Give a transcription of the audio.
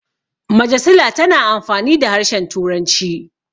majasila tana amfani da harshen turanci